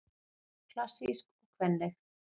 Klassísk og kvenleg